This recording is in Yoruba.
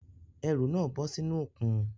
Ẹrù náà bọ́ sínú òkun